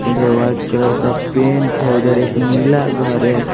उधर white colour का paint है उधर एक नीला घर है।